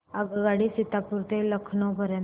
आगगाडी सीतापुर ते लखनौ पर्यंत